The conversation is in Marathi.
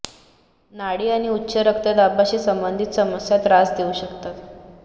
नाडी आणि उच्च रक्तदाबाशी संबंधित समस्या त्रास देऊ शकतात